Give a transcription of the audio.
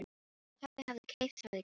Pabbi hafði keypt það í gær.